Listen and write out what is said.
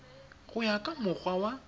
go ya ka mokgwa wa